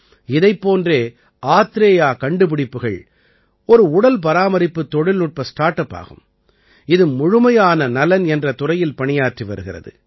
இதைப் போன்றே ஆத்ரேயா கண்டுப்பிடிப்புகள் ஒரு உடல்பராமரிப்புத் தொழில்நுட்ப ஸ்டார்ட் அப் ஆகும் இது முழுமையான நலன் என்ற துறையில் பணியாற்றி வருகிறது